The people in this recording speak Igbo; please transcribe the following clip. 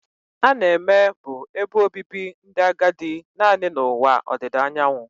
A na-eme bụ ebe obibi ndị agadi naanị na ụwa ọdịda anyanwụ